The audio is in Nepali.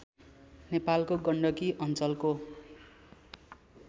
नेपालको गण्डकी अञ्चलको